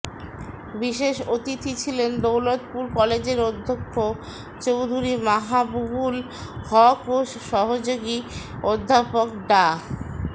বিশেষ অতিথি ছিলেন দৌলতপুর কলেজের অধ্যক্ষ চৌধুরী মাহাবুবুল হক ও সহযোগী অধ্যাপক ডা